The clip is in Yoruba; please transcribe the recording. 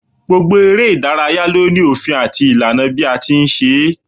Gbogbo eré ìdárayá ló ní òfin àti ìlànà bí a ti ń ṣe é